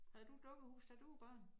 Havde du et dukkehus da du var barn?